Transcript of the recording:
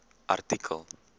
artikel